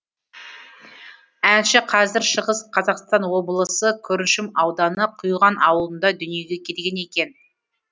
әнші қазіргі шығыс қазақстан облысы күршім ауданы құйған аулында дүниеге келген екен